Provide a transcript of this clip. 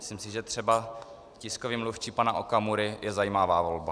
Myslím si, že třeba tiskový mluvčí pana Okamury je zajímavá volba.